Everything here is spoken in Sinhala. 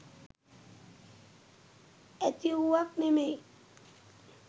ඇතිවූවක් නෙමෙයි.